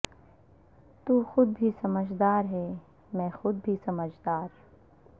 تو خود بھی سمجھدار ہے میں خود بھی سمجھدار